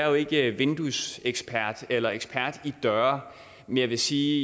og ikke vinduesekspert eller ekspert i døre men jeg vil sige